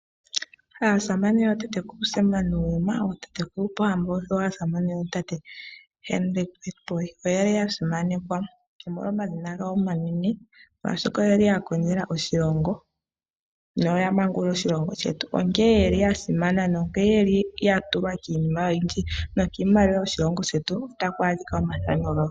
Aasamane yootatekulu Sam Nuujoma, ootatekulu Pohamba noshowo aasamane yootate Hendrick Witbooi oyeli yasimanekwa omolwa omadhina gawo omanene. Molwaashoka oyeli ya kondjela oshilongo no ya mangulula oshilongo shetu , onkee ye li ya simana nonke ye li ya tulwa kiinima oyindji no kiimaliwa yoshilongo shetu ota ku adhika omathano gawo.